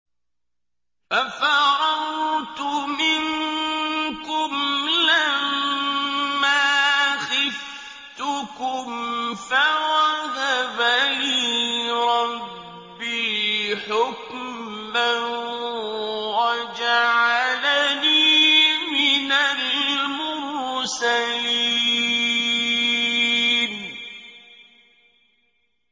فَفَرَرْتُ مِنكُمْ لَمَّا خِفْتُكُمْ فَوَهَبَ لِي رَبِّي حُكْمًا وَجَعَلَنِي مِنَ الْمُرْسَلِينَ